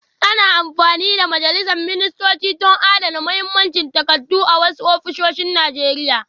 Ana amfani da majalisar ministocin don adana muhimman takardu a wasu ofisoshin Najeriya